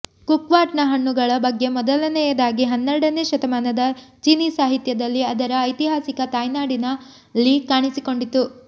ಕುಕ್ವಾಟ್ನ ಹಣ್ಣುಗಳ ಬಗ್ಗೆ ಮೊದಲನೆಯದಾಗಿ ಹನ್ನೆರಡನೇ ಶತಮಾನದ ಚೀನೀ ಸಾಹಿತ್ಯದಲ್ಲಿ ಅದರ ಐತಿಹಾಸಿಕ ತಾಯ್ನಾಡಿನಲ್ಲಿ ಕಾಣಿಸಿಕೊಂಡಿತು